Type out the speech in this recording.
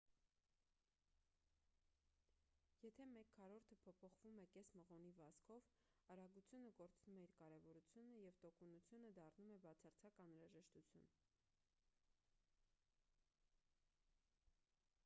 եթե մեկ քառորդը փոփոխվում է կես մղոնի վազքով արագությունը կորցնում է իր կարևորությունը և տոկունությունը դառնում է բացարձակ անհրաժեշտություն